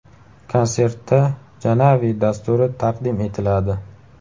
Konsertda Janavi dasturi taqdim etiladi.